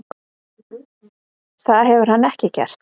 Það hefur hann ekki gert.